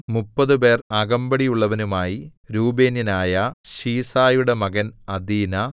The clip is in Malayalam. മുപ്പതുപേർ അകമ്പടിയുള്ളവനുമായി രൂബേന്യനായ ശീസയുടെ മകൻ അദീനാ